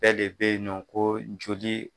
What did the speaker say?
Bɛɛ de bɛ nɔ ko joli.